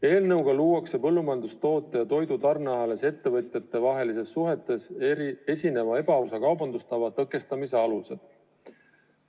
Eelnõuga luuakse põllumajandustoodete ja toidu tarneahelas ettevõtjatevahelistes suhetes esineva ebaausa kaubandustava tõkestamise alused.